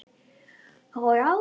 Og á hann.